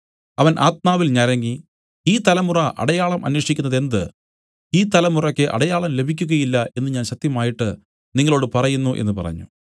അവൻ ആത്മാവിൽ ഞരങ്ങി ഈ തലമുറ അടയാളം അന്വേഷിക്കുന്നതെന്ത് ഈ തലമുറയ്ക്ക് അടയാളം ലഭിക്കുകയില്ല എന്നു ഞാൻ സത്യമായിട്ട് നിങ്ങളോടു പറയുന്നു എന്നു പറഞ്ഞു